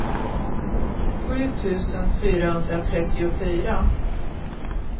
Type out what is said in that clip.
sju tusen fyrahundratrettiofyra